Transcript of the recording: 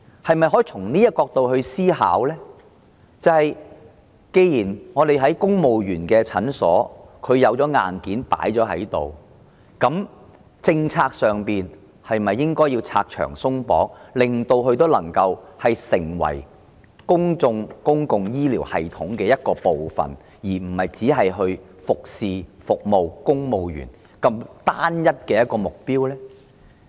然而，從這個角度思考，既然在增設公務員診所方面已有現存硬件，在政策上是否應該拆牆鬆綁，讓它們能夠成為公共醫療系統的一部分，而非只為了服務公務員這單一目標呢？